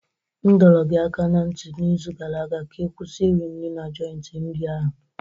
M dọrọ gị aka ná ntị n'izu gara aga ka ị kwụsị iri nri na joiti nri ahụ!